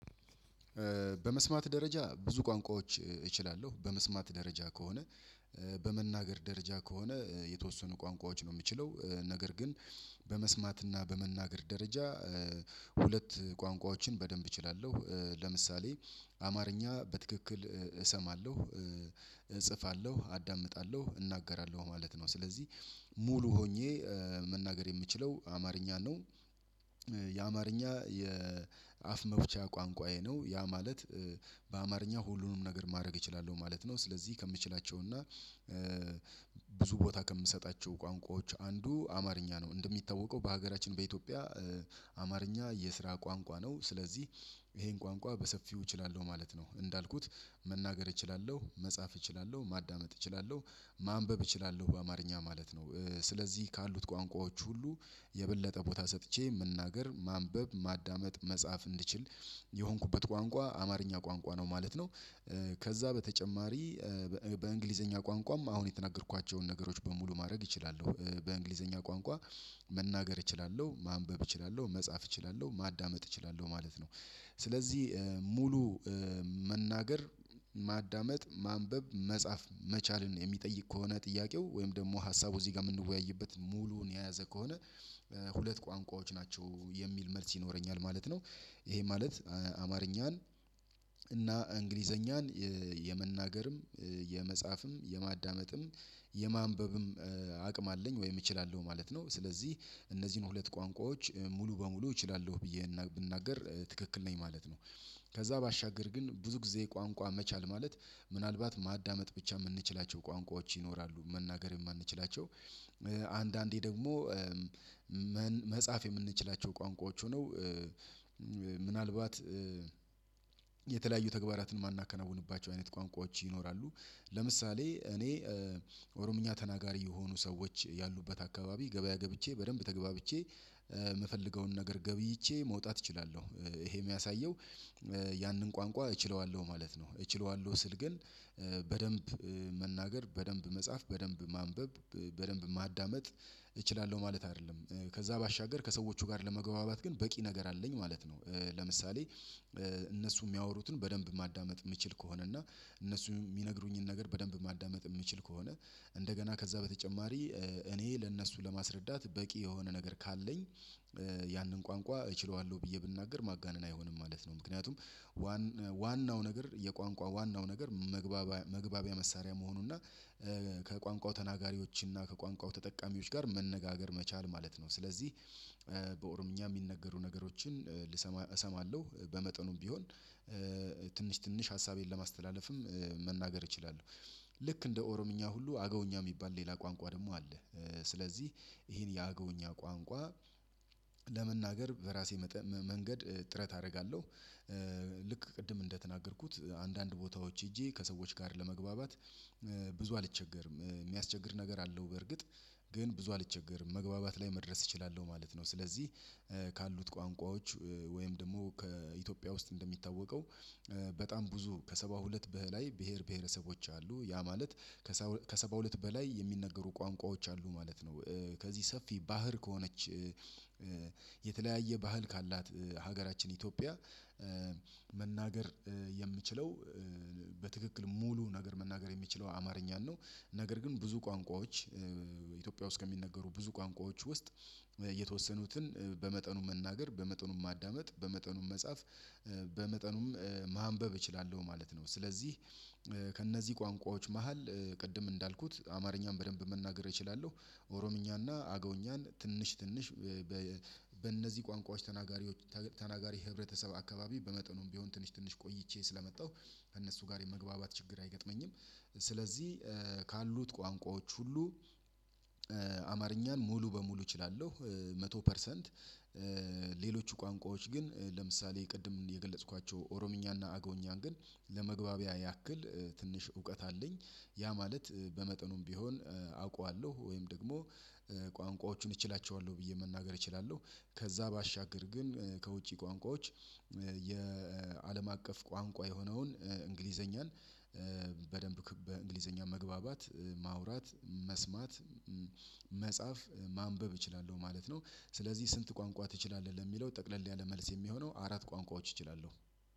በመስማት ደረጃ ብዙ ቋንቋዎች እችላለሁ በመስማት ደረጃ ከሆነ በመናገር ደረጃ ከሆነ የተወሰኑ ቋንቋዎች ነው የምችለው ነገር ግን በመስማትና በመናገር ደረጃ ሁለት ቋንቋዎችን በደንብ እችላለሁ ለምሳሌ አማርኛ በትክክል እሰማለሁ እጽፋለሁ አዳምጣለሁ እናገራለሁ ማለት ነው ስለዚህ ሙሉ ሆኜ መናገር የምችለው አማርኛነ ነው። የአማርኛ የአፍ መፍቻ ቋንቋዬ ነው ያ ማለት በአማርኛ ሁሉንም ነገር ማድረግ እችላለሁ ማለት ነው። ስለዚህ ከምችላቸው እና ብዙ ቦታ ከምሰጣቸው ቋንቋዎች አንዱ አማርኛ ነው እንደሚታወቀው በሀገራችን በኢትዮጵያ አማርኛ የስራ ቋንቋ ነው ስለዚህ ይሄን ቋንቋ በሰፊው እችላለሁ ማለት ነው። እንዳልኩት መናገር እችላለሁ መጻፍ እችላለሁ ማዳመጥ እችላለሁ ማንበብ እችላለሁ በአማርኛ ማለት ነው ስለዚህ ካሉት ቋንቋዎች ሁሉ የበለጠ ቦታ ሰጥቼ መናገር ማንበብ ማዳመጥ መጻፍ እንድችል የሆንኩበት ቋንቋ አማርኛ ቋንቋ ነው ማለት ነው። ከዛ በተጨማሪ በእንግሊዘኛ ቋንቋም አሁን የተናገርኳቸውን ነገሮች በሙሉ ማድረግ እችላለሁ በእንግሊዘኛ ቋንቋ መናገር እችላለሁ ማንበብ እችላለሁ መጻፍ እችላለሁ ማዳመጥ እችላለሁ ማለት ነው። ስለዚህ ሙሉ መናገር ማዳመጥ ማንበብ መጻፍ መቻልን የሚጠይቅ ከሆነ ጥያቄው ወይም ደግሞ ሀሳቡ እዚህ ጋር የምንወያይበት ሙሉውን የያዘ ከሆነ ሁለት ቋንቋዎች ናቸው የሚል መልስ ይኖረኛል ማለት ነው። ይሄ ማለት አማርኛን እና እንግሊዘኛን የመናገርም የመጻፍም የማዳመጥም የማንበብም አቅም አለኝ ወይም እችላለሁ ማለት ነው ስለዚህ እነዚህን ሁለት ቋንቋዎች ሙሉ በሙሉ እችላለሁ ብዬ ብናገር ትክክል ነኝ ማለት ነው። ከዛ ባሻገር ግን ብዙ ጊዜ ቋንቋ መቻል ማለት ምናልባት ማዳመጥ ብቻ የምንችላቸው ቋንቋዎች ይኖራሉ መናገር የማንችላቸው አንዳንዴ ደግሞ መጻፍ የምንችላቸው ቋንቋዎች ሆነው ምናልባት የተለያዩ ተግባራትን የማናከናውንባቸው አይነት ቋንቋዎች ይኖራሉ። ለምሳሌ እኔ ኦሮምኛ ተናጋሪ የሆኑ ሰዎች ያሉበት አካባቢ ገበያ ገብቼ በደንብ ተገባብቼ የምፈልገውን ነገር ገብይቼ መውጣት እችላለሁ ይሄ የሚያሳየው ያንን ቋንቋ እችለዋለሁ ማለት ነው። እችለዋለሁ ስል ግን በደንብ መናገር በደንብ መጻፍ በደንብ ማንበብ በደንብ ማዳመጥ እችላለሁ ማለት አይደለም ከዛ ባሻገር ከሰዎቹ ጋር ለመግባባት ግን በቂ ነገር አለኝ ማለት ነው። ለምሳሌ እነሱ የሚያወሩትን በደንብ ማዳመጥ የምችል ከሆነ እና እነሱ የሚነግሩኝን ነገር በደንብ ማዳመጥ የምችል ከሆነ እንደገና ከዛ በተጨማሪ እኔ ለእነሱ ለማስረዳት በቂ የሆነ ነገር ካለኝ ያንን ቋንቋ እችለዋለሁ ብዬ ብናገር ማጋነን አይሆንም ማለት ነው ምክንያቱም ዋናው ነገር የቋንቋ ዋናው ነገር መግባቢያ መሳሪያ መሆኑና ከቋንቋው ተናጋሪዎችና ከቋንቋው ተጠቃሚዎች ጋር መነጋገር መቻል ማለት ነው። ስለዚህ በኦሮምኛ የሚነገሩ ነገሮችን እሰማለሁ በመጠኑም ቢሆን ትንሽ ትንሽ ሀሳቤን ለማስተላለፍም መናገር እችላለሁ ልክ እንደ ኦሮምኛ ሁሉ አገውኛ የሚባል ሌላ ቋንቋ ደግሞ አለ። ስለዚህ ይሄን የአገውኛ ቋንቋ ለመናገር በራሴ መንገድ ጥረት አደርጋለሁ ልክ ቅድም እንደተናገርኩት አንዳንድ ቦታዎች ሄጄ ከሰዎች ጋር ለመግባባት ብዙ አልቸገርም የሚያስቸግር ነገር አለው በርግጥ ግን ብዙ አልቸገርም መግባባት ላይ መድረስ እችላለሁ ማለት ነው። ስለዚህ ካሉት ቋንቋዎች ወይም ደግሞ ከኢትዮጵያ ውስጥ እንደሚታወቀው በጣም ብዙ ከሰባ ሁለት በላይ ብሄር ብሄረሰቦች አሉ ያ ማለት ከሰባ ሁለት በላይ የሚነገሩ ቋንቋዎች አሉ ማለት ነው። ከዚህ ሰፊ ባህር ከሆነች የተለያየ ባህል ካላት ሀገራችን ኢትዮጵያ መናገር የምችለው በትክክል ሙሉ ነገር መናገር የሚችለው አማርኛን ነው። ነገር ግን ብዙ ቋንቋዎች ኢትዮጵያ ውስጥ ከሚነገሩ ብዙ ቋንቋዎች ውስጥ የተወሰኑትን በመጠኑ መናገር በመጠኑም ማዳመጥ በመጠኑም መጻፍ በመጠኑም ማንበብ እችላለሁ ማለት ነው። ስለዚህ ከእነዚህ ቋንቋዎች መሃል ቅድም እንዳልኩት አማርኛን በደንብ መናገር እችላለሁ ኦሮምኛና አገዉኛን ትንሽ ትንሽ በእነዚህ ቋንቋዎች ተናጋሪ ተናጋሪ ህብረተሰብ አካባቢ በመጠኑም ቢሆን ትንሽ ትንሽ ቆይቼ ስለመጣሁ እነሱ ጋር የመግባባት ችግር አይገጥመኝም። ስለዚህ ካሉት ቋንቋዎች ሁሉ አማርኛን ሙሉ በሙሉ እችላለሁ። መቶ ፐርሰንት ሌሎች ቋንቋዎች ግን ለምሳሌ ቅድም የገለጽኳቸው ኦሮምኛና አጎዉኛን ግን ለመግባቢያ ያክል ትንሽ እውቀት አለኝ ያ ማለት በመጠኑም ቢሆን አውቀዋለሁ ወይም ደግሞ ቋንቋዎቹን እችላቸዋለሁ ብዬ መናገር እችላለሁ። ከዛ ባሻገር ግን ከውጪ ቋንቋዎች የአለም አቀፍ ቋንቋ የሆነውን እንግሊዘኛን በደንብ በእንግሊዘኛ መግባባት ማውራት መስማት መጻፍ ማንበብ እችላለሁ ማለት ነው። ስለዚህ ስንት ቋንቋ ትችላለህ? ለሚለው ጠቅለል ያለ መልስ የሚሆነው አራት ቋንቋዎች እችላለሁ።